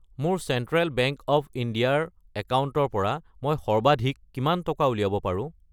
মোৰ central bank of India ৰ একাউণ্টৰ পৰা মই সৰ্বাধিক কিমান টকা উলিয়াব পাৰো?